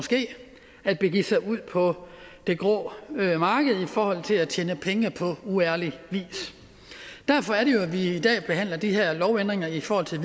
at begive sig ud på det grå marked i forhold til at tjene penge på uærlig vis derfor er det jo at vi i dag behandler de her lovændringer i forhold til